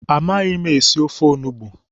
Amaghị m esi ofe onugbu.